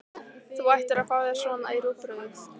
Þú ættir að fá þér svona í rúgbrauðið!